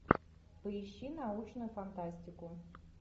поищи научную фантастику